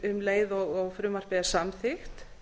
um leið og frumvarpið er samþykkt